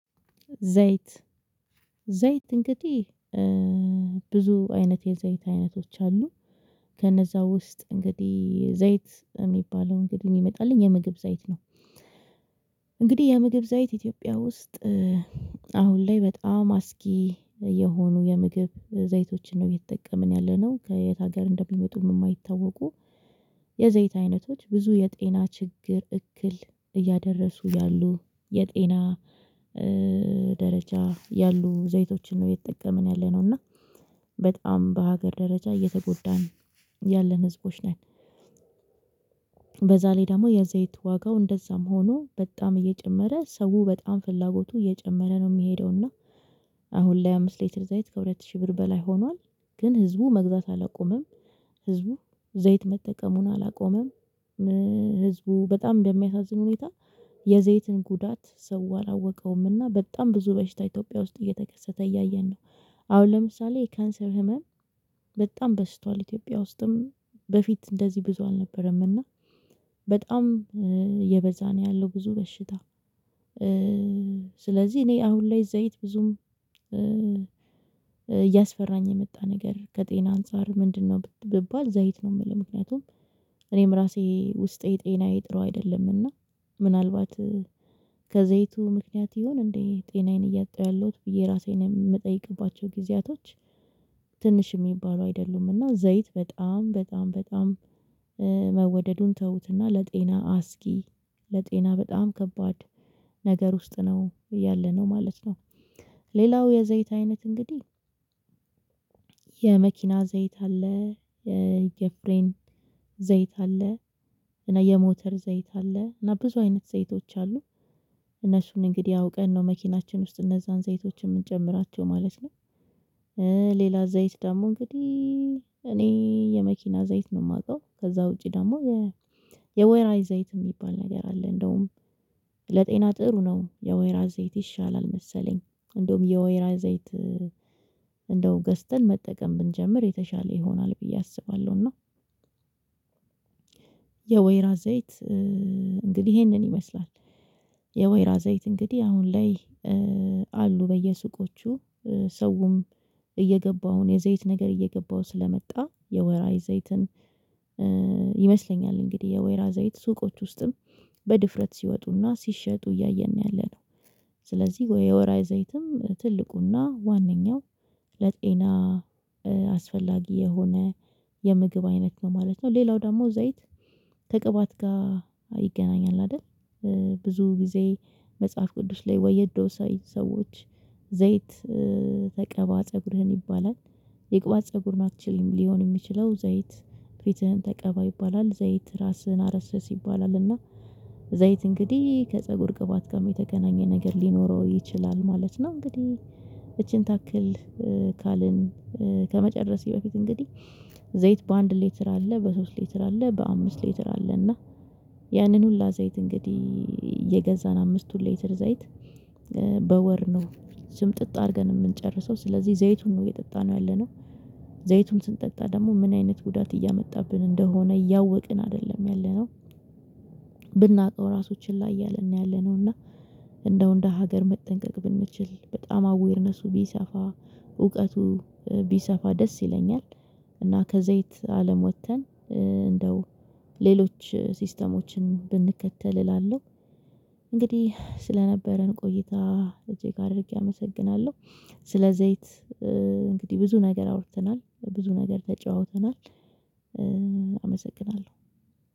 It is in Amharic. ዘይት ዘይት እንግዲህ ብዙ አይነት የዘይት አይነቶች አሉ ከነዛ ውስጥ እንግዲህ ዘይት የሚባለው እንግዲህ የመጣልኝ የምግብ ዘይት ነው። እንግዲህ የምግብ ዘይት ኢትዮጵያ ውስጥ አሁን ላይ በጣም አስጊ የሆኑ የምግብ ዘይቶችን ነው እየምተጠቀምን ያለነው ከየት ሀገር እንደሚመጡም የማይታወቁ የዘይት አይነቶች ብዙ የጤና ችግር እክል እያደረሱ ያሉ የጤና ደረጃ ያሉ ዘይቶችን ነው እየተጠቀምን ያለነው እና በጣም በሀገር ደረጃ እየተጎዳን ያለን ህዝቦች ነን። በዛ ላይ ደግሞ የዘይት ዋጋው እንደዛም ሆኖ በጣም እየጨመረ ሰው በጣም ፍላጎቱ እየጨመረ ነው የሚሄደው እና አሁን ላይ አምስት ሌትር ዘይት ከሁለት ሺህ ብር በላይ ሆኗል ግን ህዝቡ መግዛት አላቆመም ህዝቡ ዘይት መጠቀሙን አላቆመም። ህዝቡ በጣም በሚያሳዝን ሁኔታ የዘይትን ጉዳት ሰው አላወቀውምና በጣም ብዙ በሽታ ኢትዮጵያ ውስጥ እየተከሰተ እያየን ነው። አሁን ለምሳሌ የካንሰር ህመም በጣም በዝቷል ኢትዮጵያ ውስጥም በፊት እንደዚህ ብዙ አልነበረም እና በጣም እየበዛ ነው ያለው ብዙ በሽታ። ስለዚህ እኔ አሁን ላይ ዘይት ብዙም እያስፈራኝ የመጣ ነገር ከጤና አንፃር ምንድነው ብባል ዘይት ነው የምልው ምክንያቱም እኔም ራሴ ውስጤ ጤናዬ ጥሩ አይደለምና ምናልባት ከዘይቱ ምክንያት ይሁን እንዴ ጤናዬን እያጣሁ ያለሁት ብዬ ራሴን የምጠይቅባቸው ጊዜያቶች ትንሽ የሚባሉ አይደሉም እና ዘይት በጣም በጣም መወደዱን ተውትና ለጤና አስጊ ለጤና በጣም ከባድ ነገር ውስጥ ነው ያለነው ማለት ነው። ሌላው የዘይት አይነት እንግዲህ የመኪና ዘይት አለ የፍሬን ዘይት አለ እና የሞተር ዘይት አለ እና ብዙ አይነት ዘይቶች አሉ እነሱን እንግዲህ አውቀን ነው መኪናችን ውስጥ እነዛን ዘይቶችን የምንጨምራቸው ማለት ነው። ሌላ ዘይት ደግሞ እንግዲህ እኔ የመኪና ዘይት ነው የማውቀው ከዛ ውጪ ደግሞ የወይራ ዘይት የሚባል ነገር አለ እንደውም ለጤና ጥሩ ነው የወይራ ዘይት ይሻላል መሰለኝ እንደውም የወይራ ዘይት እንደው ገዝተን መጠቀም ብንጀምር የተሻለ ይሆናል ብዬ አስባለሁና። የወይራ ዘይት እንግዲህ ይሄንን ይመስላል የወይራ ዘይት እንግዲህ አሁን ላይ አሉ በየሱቆቹ ሰውም እየገባው ነው የዘይት ነገር እየገባው ስለመጣ የወይራ ዘይትን ይመስለኛል እንግዲህ የወይራ ዘይት ሱቆች ውስጥም በድፍረት ሲወጡና ሲሸጡ እያየን ነው ያለነው ስለዚህ የወይራ ዘይትም ትልቁና ዋነኛው ለጤና አስፈላጊ የሆነ የምግብ አይነት ነው ማለት ነው። ሌላው ደግሞ ዘይት ከቅባት ጋር ይገናኛል አይደል? ብዙ ጊዜ መጽሐፍ ቅዱስ ላይ ወይ የድሮ ሰዎች ዘይት ተቀባ ፀጉርህን ይባላል የቅባት ፀጉር ናቸው ሊሆን የሚችለው ዘይት ፊትህን ተቀባ ይባላል ዘይት ራስህን አረስርስ ይባላልና ዘይት እንግዲህ ከፀጉር ቅባት ጋር የተገናኘ ነገር ሊኖረው ይችላል ማለት ነው። እንግዲህ እቺን ታክል ካልን ከመጨረሴ በፊት እንግዲህ ዘይት በአንድ ሌትር አለ በሶስት ሌትር አለ በአምስት ሌትር አለ እና ያንን ሁሉ ዘይት እንግዲህ እየገዛን አምስቱን ሌተር ዘይት በወር ነው ስምጥጥ አድርገን የምንጨርሰው ስለዚህ ዘይቱን ነው እየጠጣነው ያለነው። ዘይቱን ስንጠጣ ደግሞ ምን አይነት ጉዳት እያመጣብን እንደሆነ እያወቅን አይደለም ያለነው። ብናውቀው ራሱ ችላ እያልን ነው ያለነው እና እንደው እንደ ሀገር መጠንቀቅ ብንችል በጣም አዌርነሱ ቢሰፋ እውቀቱ ቢሰፋ ደስ ይለኛል። እና ከዘይት አለም ወጥተን እንደው ሌሎች ሲስተሞችን ብንከተል እላለሁ። እንግዲህ ስለነበረን ቆይታ እዚህ እጅግ አድርጌ አመሰግናለሁ ስለ ዘይት። እንግዲህ ብዙ ነገር አውርተናል ብዙ ነገር ተጨዋውተናል። አመሰግናለሁ